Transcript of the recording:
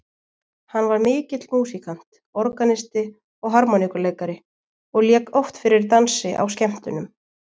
Hann var mikill músíkant, organisti og harmóníku- leikari, og lék oft fyrir dansi á skemmtunum.